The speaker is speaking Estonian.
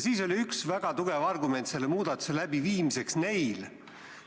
Siis oli üks väga tugev argument selle muudatuse läbiviimiseks